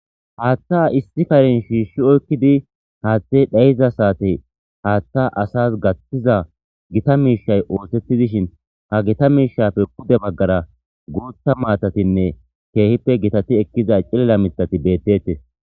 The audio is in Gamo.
Haththa issi karen shishi oykkidi haathe dhayiza saaten haathe asas gaththizay gitta mishshay othetidishin hagetta mishape pude bagara gutha maatatinne kehipe giitati eqida cillila miththati bettetes.